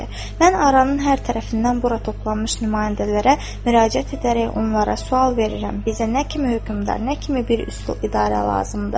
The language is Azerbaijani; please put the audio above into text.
Mən Aranın hər tərəfindən bura toplanmış nümayəndələrə müraciət edərək onlara sual verirəm: bizə nə kimi hökmdar, nə kimi bir üsul idarə lazımdır?